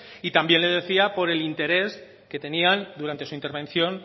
y también le decía por el interés que tenían durante su intervención